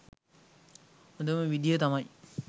හොඳම විදිය තමයි